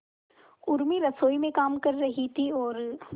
उर्मी रसोई में काम कर रही थी और